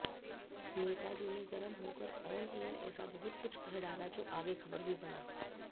नेताजी ने गरम होकर ऑनएयर ऐसा बहुत कुछ कह डाला जो आगे ख़बर भी बना